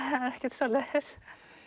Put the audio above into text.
ekkert svoleiðis